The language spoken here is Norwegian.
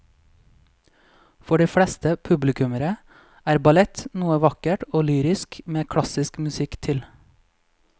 For de fleste publikummere er ballett noe vakkert og lyrisk med klassisk musikk til.